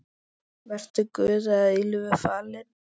Vertu Guði að eilífu falinn.